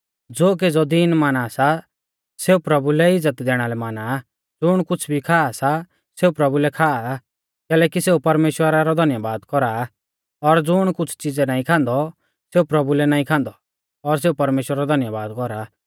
ज़ो केज़ौ दिन माना सा सेऊ प्रभु लै इज़्ज़त दैणा लै माना आ ज़ुण कुछ़ भी खा सा सेऊ प्रभु लै खाआ कैलैकि सेऊ परमेश्‍वरा रौ धन्यबाद कौरा आ और ज़ुण कुछ़ च़िज़ै नाईं खान्दौ सेऊ प्रभु लै नाईं खान्दौ और सेऊ परमेश्‍वरा रौ धन्यबाद कौरा